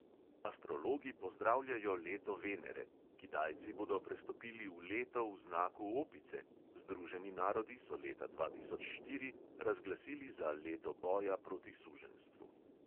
Astrologi pozdravljajo leto venere, kitajci bodo prestopili v leto v znaku opice, združeni narodi so leta dva tisoč štiri razglasili za leto boja proti suženjstvu.